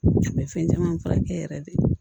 A bɛ fɛn caman furakɛ yɛrɛ de